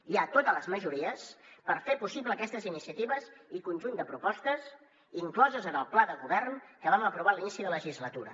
hi ha totes les majories per fer possible aquestes iniciatives i conjunt de propostes incloses en el pla de govern que vam aprovar a l’inici de legislatura